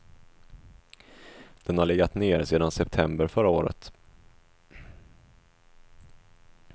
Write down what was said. Den har legat nere sedan september förra året.